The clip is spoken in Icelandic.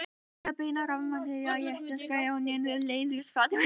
til að beina rafeindageislanum á réttan stað á skjánum eru tvær leiðir færar